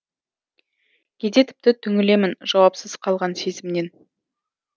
кейде тіпті түңілемін жауапсыз қалған сезімнен